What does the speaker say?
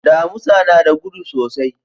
Damusa na da gudu sosai.